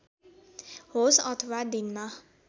होस् अथवा दिनमा